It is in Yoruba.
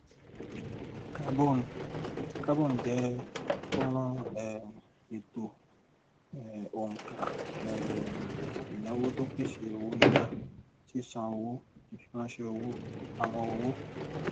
carbon carbon jẹ fọnrán um ètò um òǹkà um ìnáwó tó pèsè owó yíyá sísan owó ìfiránṣẹ owó ìpamọ owó